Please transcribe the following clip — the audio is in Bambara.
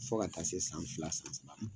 Fo ka taa se san fila, san saba ma.